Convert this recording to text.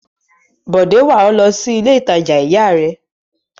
Bọ̀dé wà ọ́ lọ sí ilé-ìtajà ìyá rẹ?